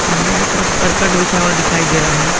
सामने के तरफ करकट बिछा हुआ दिखाई दे रहा--